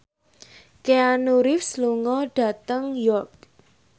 Keanu Reeves lunga dhateng York